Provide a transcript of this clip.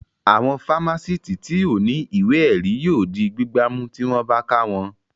Àwọn fámásìtì tí ò ní ìwé ẹ̀rí yóò di gbígbá mú tí wọ́n bá ká wọn